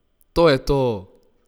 To je to!